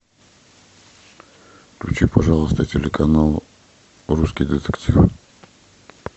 включи пожалуйста телеканал русский детектив